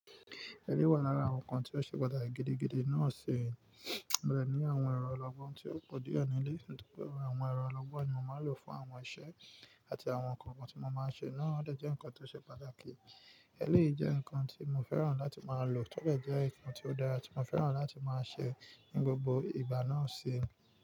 Ẹlé wà lára àwọn nǹkan tí ó ṣe pàtàkì gidigidi náà sẹ̀. Mo ní àwọn ẹrọ̀ ọlọ́gbọ́n tí ó pọ̀ die níle lé, nítorí pé àwọn ẹrọ̀ ọlọ́gbọ́n ni mo máa lò fún àwọn iṣẹ́ àti àwọn nǹkan kan tí mo máa ṣe. Náà dẹ̀ jẹ́ nǹkan tí ó ṣe pàtàkì. Ẹléyii jẹ́ nǹkan tí mo fẹ́ràn láti máa lò tọ́bẹ̀ dẹ́ nǹkan tí ó dára tí mo fẹ́ràn láti máa ṣẹ̀ ní gbogbo ìgbà náà ṣi.